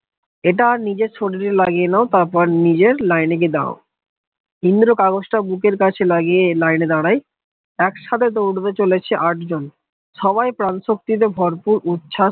এটা নিজের শরীর লাগিয়ে নাও তারপর নিজের লাইনে খেদাও ইন্দ্র কাগজটা বুকের কাছে লাগিয়ে লাইনে দাঁড়াই, একসাথে তো উঠবে চলেছি আটজন সবাই প্রাণশক্তিতে ভরপুর উচ্ছ্বাস